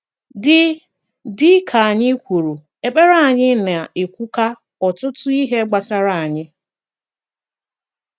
Dị Dị ka anyị kwùrù, èkpere anyị na-ekwukwa ọtụtụ ihé gbásárá anyị.